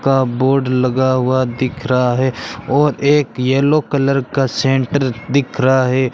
का बोर्ड लगा हुआ दिख रहा है और एक येलो कलर का सेंटर दिख रहा है।